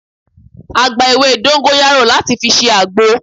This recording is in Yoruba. A gba ewé dóńgóyárò láti fi ṣe àgbo